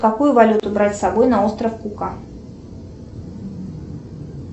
какую валюту брать с собой на остров кука